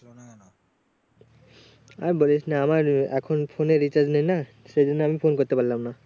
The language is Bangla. আর বলিস না আমার এখন phone এ recharge নেই না সেই জন্য আমি phone করতে পারলাম না